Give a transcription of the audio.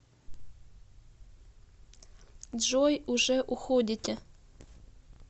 джой уже уходите